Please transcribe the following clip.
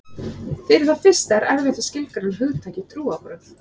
Fyrir það fyrsta er erfitt að skilgreina hugtakið trúarbrögð.